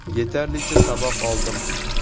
Yetarlicha saboq oldim.